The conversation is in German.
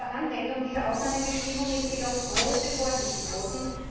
Bei der Anwendung dieser Ausnahmebestimmung ist jedoch große Vorsicht geboten.